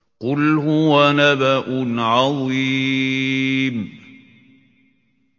قُلْ هُوَ نَبَأٌ عَظِيمٌ